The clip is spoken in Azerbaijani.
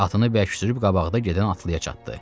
Atını bərk sürüb qabaqda gedən atlıya çatdı.